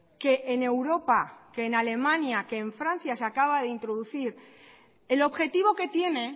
que en europa que en alemania que en francia se acaba de introducir el objetivo que tiene